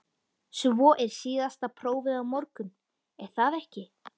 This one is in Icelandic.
Svo er síðasta prófið á morgun, er það ekki?